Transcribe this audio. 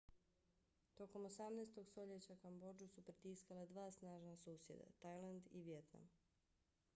tokom 18. stoljeća kambodžu su pritiskala dva snažna susjeda - tajland i vijetnam